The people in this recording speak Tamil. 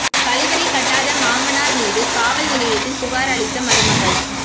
கழிவறை கட்டாத மாமனார் மீது காவல் நிலையத்தில் புகார் அளித்த மருமகள்